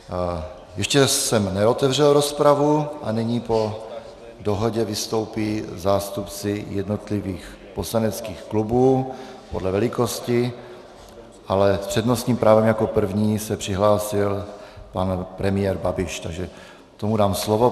Ještě jsem neotevřel rozpravu a nyní po dohodě vystoupí zástupci jednotlivých poslaneckých klubů podle velikosti, ale s přednostním právem jako první se přihlásil pan premiér Babiš, takže tomu dám slovo.